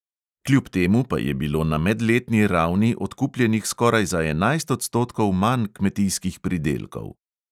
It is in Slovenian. Kljub temu pa je bilo na medletni ravni odkupljenih skoraj za enajst odstotkov manj kmetijskih pridelkov.